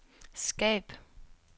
skab